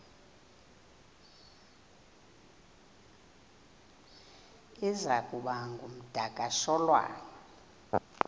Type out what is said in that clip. iza kuba ngumdakasholwana